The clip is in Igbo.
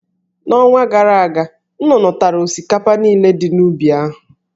N'ọnwa gara aga, nnụnụ tara osikapa niile dị n'ubi ahụ.